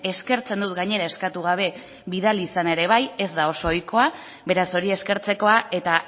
eskertzen dut gainera eskatu gabe bidali izana ere bai ez da oso ohikoa beraz hori eskertzekoa eta